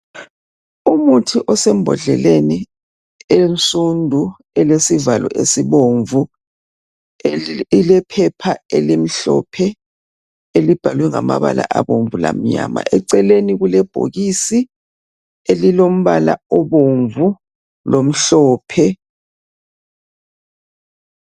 Umuthi osembhodleleni ensundu elesivalo esibomvu ilephepha elimhlophe elibhalwe ngamabala abomvu lamnyama eceleni kulebhokisi elilombala obomvu lomhlophe